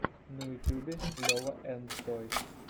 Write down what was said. на ютюбе лева энд тойс